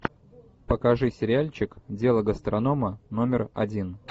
покажи сериальчик дело гастронома номер один